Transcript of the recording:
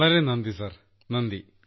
വളരെ നന്ദി നന്ദി സാർ നന്ദി